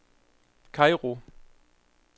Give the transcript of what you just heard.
Kairo